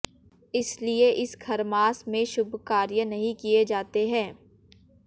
इसलिए इस खरमास में शुभ कार्य नहीं किये जाते हैं